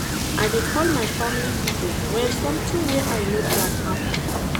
I dey call my family pipo wen sometin wey I no plan happen.